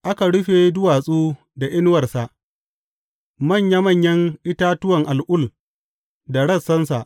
Aka rufe duwatsu da inuwarsa, manya manyan itatuwan al’ul da rassansa.